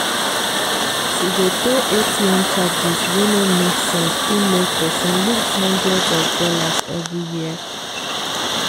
to dey pay atm charges wey no make sense fit make person loose hundreds of dollars every year.